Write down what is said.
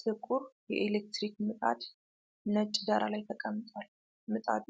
ጥቁር የኤሌክትሪክ ምጣድ ነጭ ዳራ ላይ ተቀምጧል። ምጣዱ